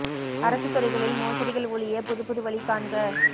அரசு துறைகளில் மோசடிகள் ஒழிய புதுப்புது வழி காண்க